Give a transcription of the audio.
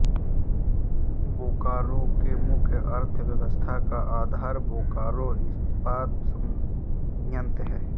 बोकारो के मुख्य अर्थव्यवस्था का आधार बोकारो इस्पात संयंत्र है